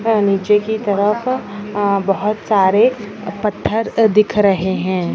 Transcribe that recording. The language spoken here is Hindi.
नीचे की तरफ ह बहुत सारे पत्थर दिख रहे हैं।